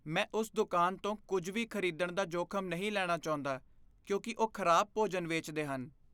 ਮੈਂ ਉਸ ਦੁਕਾਨ ਤੋਂ ਕੁਝ ਵੀ ਖਰੀਦਣ ਦਾ ਜੋਖਮ ਨਹੀਂ ਲੈਣਾ ਚਾਹੁੰਦਾ ਕਿਉਂਕਿ ਉਹ ਖਰਾਬ ਭੋਜਨ ਵੇਚਦੇ ਹਨ।